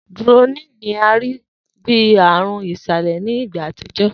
Drooling ni a rii bi aarun isalẹ ni igba atijọ